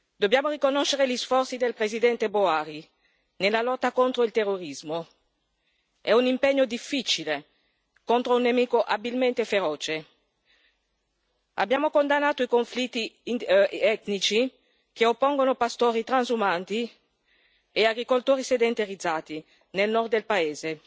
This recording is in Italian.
Dobbiamo riconoscere gli sforzi del presidente Buhari nella lotta contro il terrorismo. È un impegno difficile, contro un nemico abilmente feroce. Abbiamo condannato i conflitti etnici che oppongono pastori transumanti e agricoltori sedentarizzati nel nord del paese.